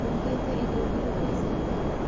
ũrũgĩte irio irĩkũ ica ikuhĩ?